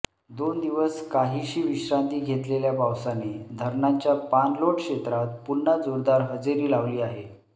दोन दिवस काहीशी विश्रांती घेतलेल्या पावसाने धरणांच्या पाणलोट क्षेत्रात पुन्हा जोरदार हजेरी लावली आहे